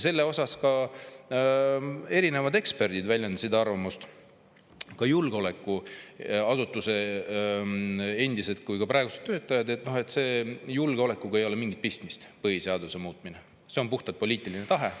Selle kohta erinevad eksperdid, ka julgeolekuasutuse nii endised kui ka praegused töötajad, väljendasid arvamust, et julgeolekuga ei ole sellel mingit pistmist, vaid põhiseaduse muutmine on puhtalt poliitiline tahe.